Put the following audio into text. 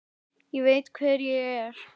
Ég veit hver ég er.